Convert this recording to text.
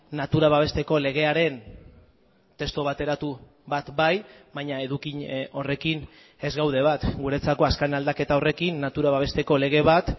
natura babesteko legearen testu bateratu bat bai baina edukin horrekin ez gaude bat guretzako azken aldaketa horrekin natura babesteko lege bat